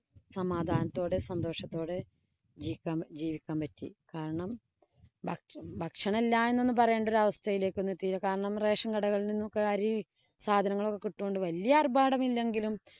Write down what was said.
സമാധാനത്തോടെ സന്തോഷത്തോടെ ജീവിക്കാന്‍ ജീവിക്കാന്‍ പറ്റി. കാരണം ഭക്ഷണം ഇല്ലാ എന്നൊന്നും പറയണ്ട ഒരവസ്ഥയിലേക്കൊന്നും എത്തിയില്ല. കാരണം, rasion കടകളില്‍ നിന്നൊക്കെ അരി സാധങ്ങളൊക്കെ കിട്ടിയത് കൊണ്ട് വലിയ ആര്‍ഭാടമില്ലെങ്കിലും